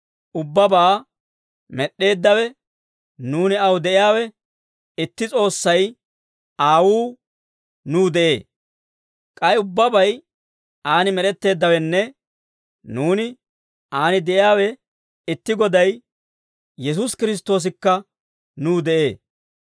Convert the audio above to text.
ubbabaa med'd'eeddawe nuuni aw de'iyaawe, itti S'oossay, Aawuu, nuw de'ee. K'ay ubbabay aan med'etteeddawenne nuuni aan de'iyaawe itti Goday, Yesuusi Kiristtoosikka nuw de'ee.